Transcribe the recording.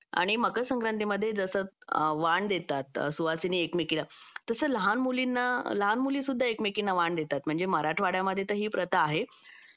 आणि मकर संक्रांति मध्ये जसं वाण देतात सुवासिनी एकमेकीला तसं लहान मुलींना लहान मुलीसुद्धा एकमेकींना वाण देतात म्हणजे मराठवाड्यामध्ये तर ही प्रथा आहे